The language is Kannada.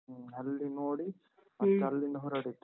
ಹ್ಮ. ಅಲ್ಲಿ ನೋಡಿ. ಹೊರಡಿದ್ದು.